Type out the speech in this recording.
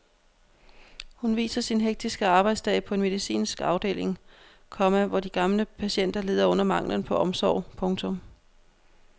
Hun viser sin hektiske arbejdsdag på en medicinsk afdeling, komma hvor de gamle patienter lider under manglen på omsorg. punktum